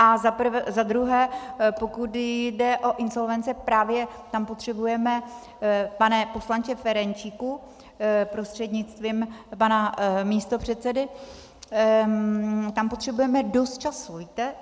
A za druhé, pokud jde o insolvence, právě tam potřebujeme, pane poslanče Ferjenčíku prostřednictvím pana místopředsedy, tam potřebujeme dost času, víte?